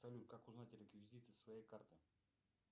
салют как узнать реквизиты своей карты